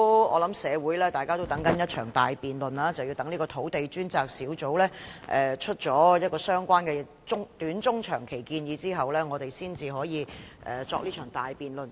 我想社會各界也正在期待一場大辯論，但是要待土地供應專責小組提出相關的短、中、長期建議後，我們才可以展開這場大辯論。